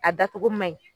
A dacogo man ɲi